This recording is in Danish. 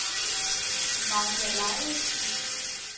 Magda Lauridsen